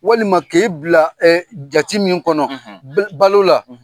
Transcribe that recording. Walima k'e bila e jate min kɔnɔ balo la